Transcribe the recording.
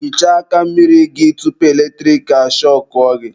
Hichaa aka mmiri gị tupu eletrik ashọkụọ gị.